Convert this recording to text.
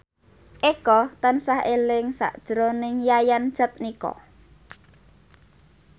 Eko tansah eling sakjroning Yayan Jatnika